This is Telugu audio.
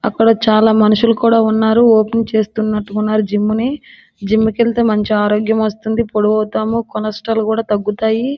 అక్కడ చాలా మనుషులు కూడా ఉన్నారు. వాకింగ్ చేస్తూ ఉన్నట్టుగా ఉన్నారు. జిమ్ ని జిమ్ముకి వెళ్తే మంచి ఆరోగ్యం వస్తుంది. పొడవుతాము కొలెస్ట్రాల్ కూడా తగ్గుతాయి.